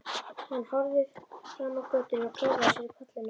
Hann horfði fram á götuna og klóraði sér í kollinum.